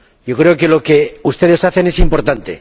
yo creo que lo que ustedes hacen es importante.